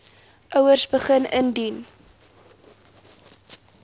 ouers begin indien